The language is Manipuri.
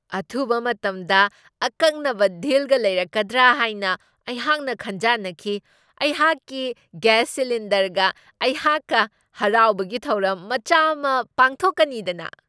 ꯑꯊꯨꯕ ꯃꯇꯝꯗ ꯑꯀꯛꯅꯕ ꯗꯤꯜꯒ ꯂꯩꯔꯛꯀꯗ꯭ꯔꯥ ꯍꯥꯏꯅ ꯑꯩꯍꯥꯛꯅ ꯈꯟꯖꯥꯟꯅꯈꯤ ꯫ ꯑꯩꯍꯥꯛꯀꯤ ꯒ꯭ꯌꯥꯁ ꯁꯤꯂꯤꯟꯗꯔꯒ ꯑꯩꯍꯥꯛꯀ ꯍꯔꯥꯎꯕꯒꯤ ꯊꯧꯔꯝ ꯃꯆꯥ ꯑꯃ ꯄꯥꯡꯊꯣꯛꯀꯅꯤꯗꯅꯥ !